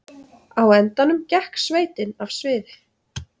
Á endanum gekk sveitin af sviði